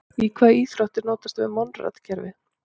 Í hvaða íþrótt er notast við Monrad-kerfið?